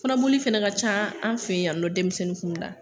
Kɔnɔboli fɛnɛ ka ca an fe yan nɔ denmisɛnnin kun da.